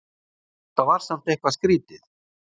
Þetta var samt eitthvað skrítið.